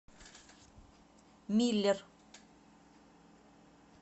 миллер